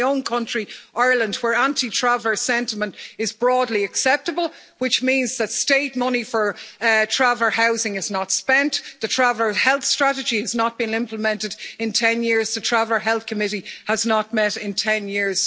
In my own country, Ireland, anti-Traveller sentiment is broadly acceptable, which means that state money for Traveller housing is not spent, the Traveller Health Strategy has not been implemented in 10 years, and the Traveller Health Committee has not met in 10 years.